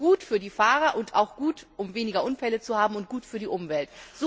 Das ist gut für die Fahrer und auch gut, um weniger Unfälle zu haben, und auch gut für die Umwelt.